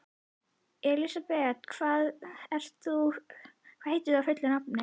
Elisabeth, hvað heitir þú fullu nafni?